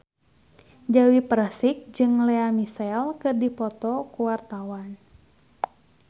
Dewi Persik jeung Lea Michele keur dipoto ku wartawan